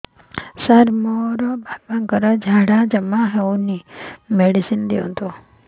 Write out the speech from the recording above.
ସାର ମୋର ବାପା ର ଝାଡା ଯାଉନି ମେଡିସିନ ଦିଅନ୍ତୁ